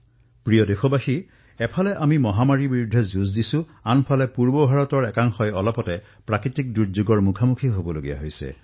মোৰ মৰমৰ দেশবাসীসকল এফালে আমি মহামাৰীৰ সৈতে যুঁজি আছো আৰু আনফালে পূব ভাৰতৰ কিছু অংশই প্ৰাকৃতিক বিপদৰ সন্মুখীন হবলগীয়া হৈছে